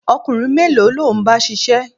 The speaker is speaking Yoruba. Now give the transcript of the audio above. Ọkùnrin mélòó ló ń bá ṣiṣẹ́?